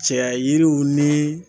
Cɛya yiriw ni